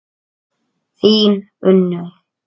Þín Unnur.